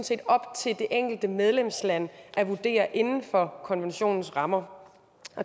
set op til det enkelte medlemsland at vurdere inden for konventionens rammer